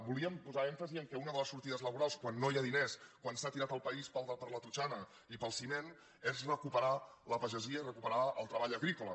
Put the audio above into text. volíem posar èmfasi en el fet que una de les sortides laborals quan no hi ha diners quan s’ha tirat el país per la totxana i pel ciment és recuperar la pagesia i recuperar el treball agrícola